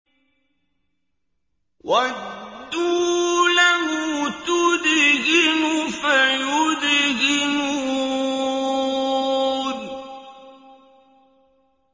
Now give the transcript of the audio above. وَدُّوا لَوْ تُدْهِنُ فَيُدْهِنُونَ